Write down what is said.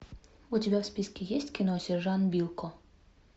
у тебя в списке есть кино сержант билко